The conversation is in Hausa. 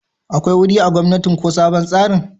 akwai wuri a gomnatin ko sabon tsarin?